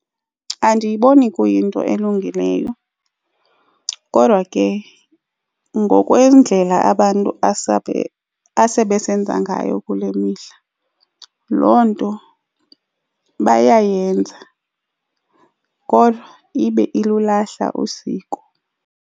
Andiyiboni kuyinto elungileyo kodwa ke ngokwendlela abantu asebesesenza ngayo kule mihla loo nto bayayenza kodwa ibe ilulahla usiko.